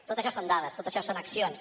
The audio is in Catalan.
tot això són dades tot això són accions